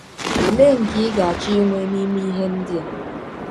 Ọlee nke ị ga - achọ inwe n’ime ihe ndị a?